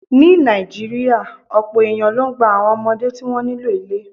Ní Nàìjíríà, ọ̀pọ̀ èèyàn ló ń gba àwọn ọmọdé tí wọ́n nílò ilé